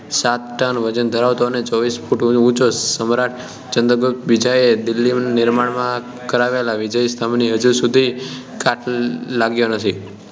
સાત ટન વજન ધરાવતો અને ચોવીસ ફુટ ઉંચો સમ્રાટ ચંદ્રગુપ્ત બીજાએ દિલ્લીમાં નિર્માણ કરાવેલા વિજય સ્તંભને હજી સુધી કાટ લાગ્યો નથી